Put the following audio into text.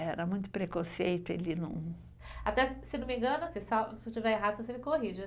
Era muito preconceito, ele não... Até, se não me engano, se tiver errado, você me corrige.